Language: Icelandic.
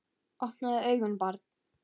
Opnaðu augun barn!